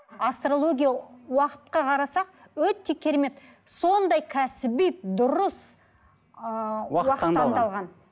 астрология уақытқа қарасақ өте керемет сондай кәсіби дұрыс ыыы уақыт таңдалған